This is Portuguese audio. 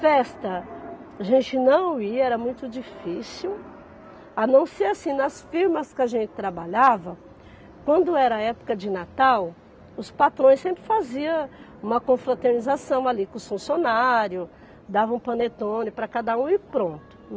Festa, a gente não ia, era muito difícil, a não ser, assim, nas firmas que a gente trabalhava, quando era época de Natal, os patrões sempre faziam uma confraternização ali com os funcionários, davam panetone para cada um e pronto.